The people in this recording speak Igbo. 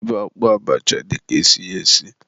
ịba akpụ abacha dịka isi ya esi.